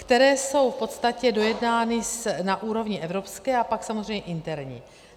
Které jsou v podstatě dojednány na úrovni evropské a pak samozřejmě interní.